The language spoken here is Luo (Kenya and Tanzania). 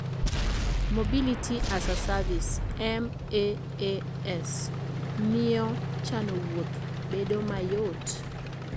Mobility-as-a-Service (MaaS) miyo chano wuoth bedo mayot.